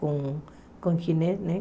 Com o Ginés, né?